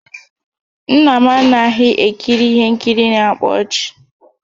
Nna m anaghị ekiri ihe nkiri na-akpa ọchị